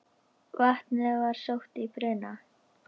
Vatnið var sótt í brunn.